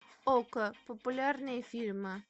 окко популярные фильмы